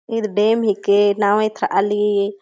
ईद डेम हेके नाँव ऐथ आली।